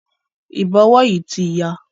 Ìbọ̀wọ́ yìí ti ya.